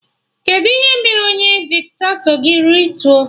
Kedụ ihe mere onye diktato gị rituo?